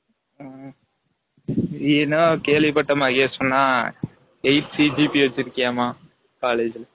ம்ம், நீ என்ன டா கேல்வி பட்டேன் மஹெஷ் சொன்னான் eight CGP வச்சு இருகியாமா college ல